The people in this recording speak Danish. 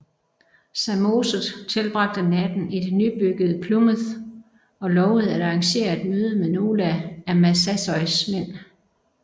Samoset tilbragte natten i det nybyggede Plymouth og lovede at arrangere et møde med nogle af Massasois mænd